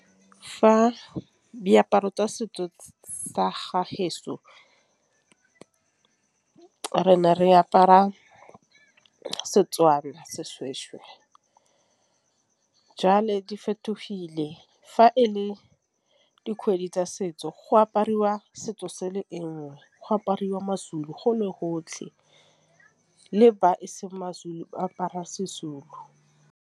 Fa diaparo tsa setso sa re ne re apara Setswana seshweshwe jalo di fetogile. Fa e le dikgwedi tsa setso go apariwa setso se sengwe, go apariwa ma-Zulu go le gotlhe le ba eseng ma-Zulu apara se-Zulu.